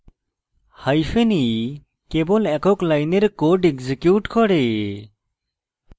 hyphen e কেবল একক লাইনের code এক্সিকিউট করে